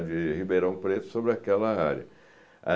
de Ribeirão Preto, sobre aquela área.